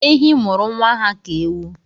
Ehi mụrụ nwa ha ka ewu